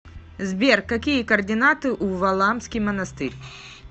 сбер какие координаты у валаамский монастырь